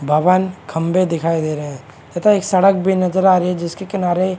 भवन खंबे दिखाई दे रहे हैं तथा एक सड़क भी नजर आ रही है जिसके किनारे--